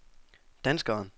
danskeren